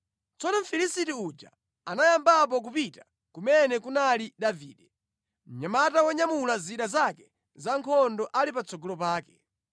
Tsono Mfilisiti uja anayambapo kupita kumene kunali Davide, mnyamata wonyamula zida zake za nkhondo ali patsogolo pake.